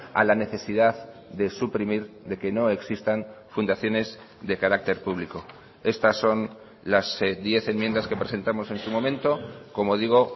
a la necesidad de suprimir de que no existan fundaciones de carácter público estas son las diez enmiendas que presentamos en su momento como digo